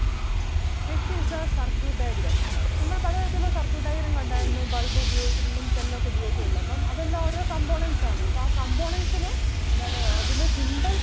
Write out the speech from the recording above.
Next is the circuit diagram. നമ്മൾ പലതരത്തിൽ ഉള്ള circuit diagram കണ്ടാരുന്നു bulb ഉപയോഗിച്ചിട്ടുള്ളതും cell ഒക്കെ ഉപയോഗിച്ചിട്ടുള്ളതും അപ്പം അതെല്ലാം ഓരോ components ആണ് അപ്പം ആ components നെ എന്താണ് അതിൻ്റെ symbols